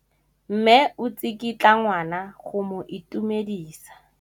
Mme o tsikitla ngwana go mo itumedisa.